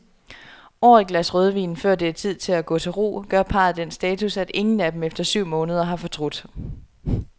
Over et glas rødvin, før det er tid at gå til ro, gør parret den status, at ingen af dem efter syv måneder har fortrudt.